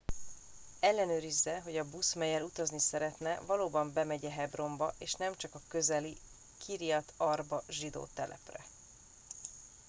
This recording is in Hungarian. ellenőrizze hogy a busz mellyel utazni szeretne valóban bemegy e hebronba és nemcsak a közeli kiryat arba zsidó telepre